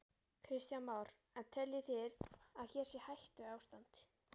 Kristján Már: En þið teljið að hér sé hættuástand?